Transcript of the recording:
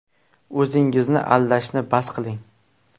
O‘zingizni aldashni bas qiling!